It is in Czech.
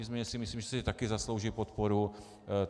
Nicméně si myslím, že si taky zaslouží podporu.